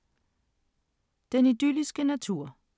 Den idylliske natur